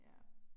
Ja